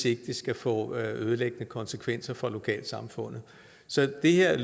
ikke skal få ødelæggende konsekvenser for lokalsamfundet så det her